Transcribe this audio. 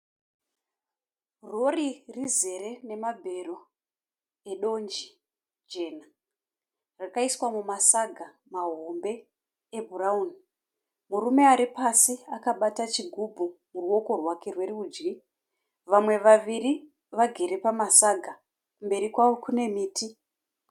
Rori rizere nemabero edonje jena. Rakaiswa mumasaga mahombe ebhurauni. Murume ari pasi akabata chigubhu muruoko rwerudyi. Vamwe vaviri vagere pamasaga, kumberi kwavo kune miti.